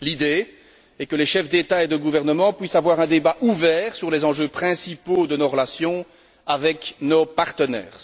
L'idée est que les chefs d'État et de gouvernement puissent avoir un débat ouvert sur les enjeux principaux de nos relations avec nos partenaires.